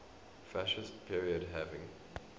fascist period having